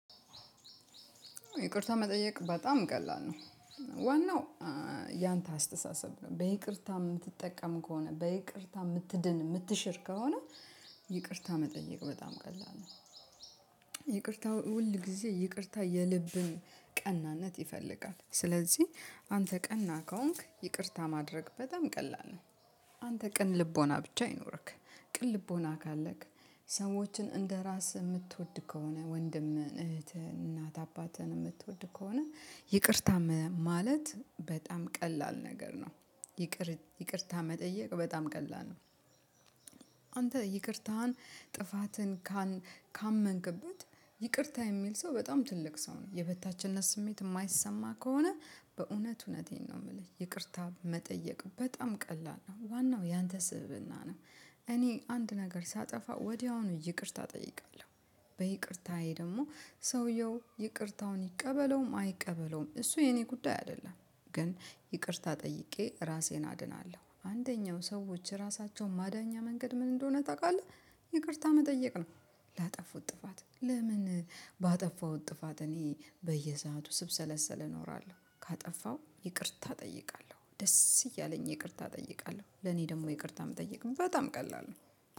ይቅርታ መጠየቅ በጣም ቀላል ነው። ዋናው ያንተ አስተሳሰብ ነው በይቅርታ የምትጠቀም ከሆነ በይቅርታ የምትድን የምትሽር ከሆነ። ይቅርታ መጠየቅ በጣም ቀላል ነው። ይቅርታ ሁል ጊዜ ይቅርታ የልብን ቀናነት ይፈልጋል ስለዚህ አንተ ቀና ከሆንክ ይቅርታ ማድረግ በጣም ቀላል ነው። አንተ ቀን ልቦና ብቻ ይኖርክ ቅን ልቦና ካለክ ሰዎችን እንደራስህ የምትወድ ከሆነ ወንድምህ እህትህ እናት አባትህን የምትወድ ከሆነ ይቅርታ ማለት በጣም ቀላል ነገር ነው። ይቅር ይቅርታ መጠየቅ በጣም ቀላል ነው። አንተ ይቅርታህን ጥፋትን ካመንክበት ይቅርታ የሚል ሰው በጣም ትልቅ ሰው ነው የበታችነት ስሜት የማይሰማ ከሆነ በእውነት እውነቴን ነው የምልህ ይቅርታ መጠየቅ በጣም ቀላል ነው ዋናው ያንተ ስብእና ነው። እኔ አንድ ነገር ሳጠፋ ወዲያውኑ ይቅርታ እጠይቃለሁ በይቅርታዬ ደግሞ ሰውየው ይቅርታውን ይቀበለውም አይቀበለውም እሱ የኔ ጉዳይ አይደለም። ግን ይቅርታ ጠይቄ ራሴን አድናለሁ አንደኛው ሰዎች ራሳቸውን ማዳኛ መንገድ ምን እንደሆነ ታውቃለህ? ይቅርታ መጠየቅ ነው። ላጠፉት ጥፋት ለምን ባጠፋው ጥፋት እኔ በየሰአቱ ስብሰለሰለ እኖራለሁ። ካጠፋው ይቅርታ እጠይቃለሁ ደስ እያለኝ ይቅርታ እጠይቃለሁ ለኔ ደግሞ ይቅርታ የምጠይቅም በጣም ቀላል ነው